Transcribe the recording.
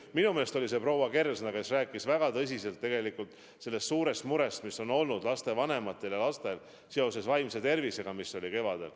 Minu meelest oli see proua Kersna, kes rääkis väga tõsiselt suurest murest, mis kevadel oli lastevanematel ja lastel seoses vaimse tervisega.